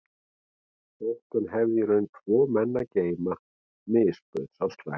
Þótt hann hefði í raun tvo menn að geyma misbauð sá slæmi